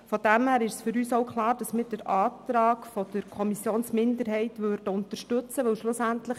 Daher ist für uns auch klar, dass wir den Antrag der Kommissionsminderheit unterstützen, denn schlussendlich